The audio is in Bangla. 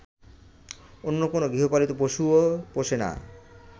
অন্য কোনো গৃহপালিত পশুও পোষে না